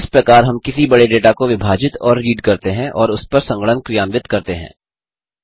इस प्रकार हम किसी बड़े डेटा को विभाजित और रीड करते हैं और उसपर संगणन क्रियान्वित करते हैं